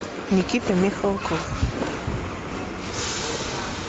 никита михалков